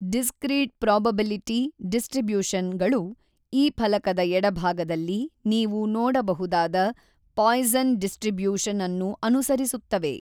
Discrete probability distribution ಗಳು ಈ ಫಲಕದ ಎಡಭಾಗದಲ್ಲಿ ನೀವು ನೋಡಬಹುದಾದ ಪಾಯ್ಸನ್ ಡಿಸ್ಟ್ರಿಬ್ಯೂಶನ್ ಅನ್ನು ಅನುಸರಿಸುತ್ತವೆ.